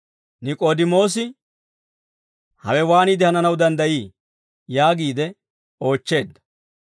Nik'oodimoosi, «Hawe waaniide hananaw danddayii?» yaagiide oochcheedda.